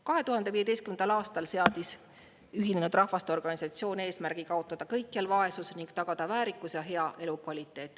2015. aastal seadis Ühinenud Rahvaste Organisatsioon eesmärgi kaotada kõikjal vaesus ning tagada väärikus ja hea elukvaliteet.